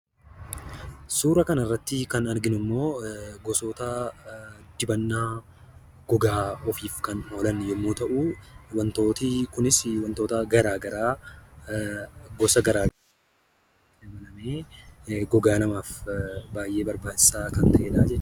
Suura kana irratti kan arginu immoo wantoota dibannaa gogaa ofiif kan oolan yommuu ta'u, Wantoonni kunis wantoota garaa garaa fayyadamuudhan kan qophaa'udha. Dibanni kunillee gogaa namaaf baay'ee barbaachisaadha.